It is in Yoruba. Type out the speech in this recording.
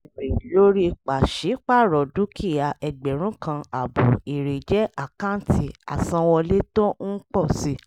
èrè lórí pàṣípàrọ̀ dúkìá ẹgbẹ̀rún kan àbọ èrè jẹ́ àkáǹtì àsanwọlé tó ń pọ̀ si.